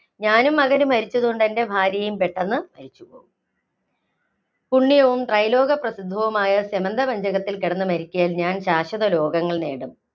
ഞാനും മകനും മരിച്ചതുകൊണ്ട് എന്‍റെ ഭാര്യയും പെട്ടെന്ന് പുണ്യവും, ത്രൈലോക പ്രസിദ്ധവുമായ സ്യമന്തപഞ്ചകത്തില്‍ കിടന്നു മരിക്കയാല്‍ ഞാന്‍ ശാശ്വത ലോകങ്ങള്‍ നേടും.